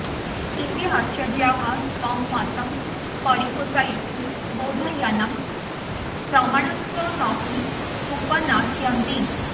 एते अाचार्याः स्वं मतं परिपोषयितुं बौधायनं प्रमाणत्वेनाऽपि उपन्यस्यन्ति